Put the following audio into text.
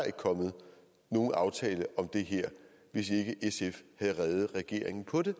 ikke kommet nogen aftale om det her hvis ikke sf havde reddet regeringen på det